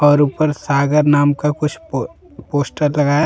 और ऊपर सागर नाम का कुछ प पोस्टर लगा है।